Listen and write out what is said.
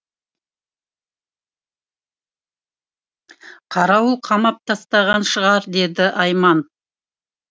қарауыл қамап тастаған шығар деді айман